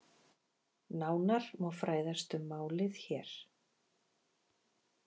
Nánar má fræðast um málið hér